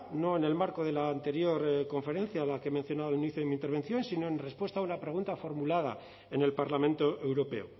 no en el marco de la anterior conferencia la que he mencionado al inicio de mi intervención sino en respuesta a una pregunta formulada en el parlamento europeo